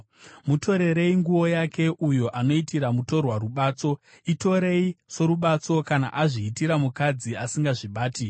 Mutorerei nguo yake, uyo anoitira mutorwa rubatso; itorei sorubatso kana azviitira mukadzi asingazvibati.